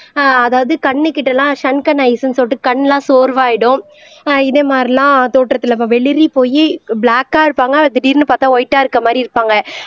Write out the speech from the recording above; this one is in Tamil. ஆஹ் அதாவது கண்ணுக்கிட்ட எல்லாம் சொல்லிட்டு கண் எல்லாம் சோர்வாயிடும் ஆஹ் இதே மாதிரிலாம் தோற்றத்துல வெளிரி போயி ப்ளாக்கா இருப்பாங்க திடீர்ன்னு பார்த்தால் வைட்டா இருக்க மாதிரி இருப்பாங்க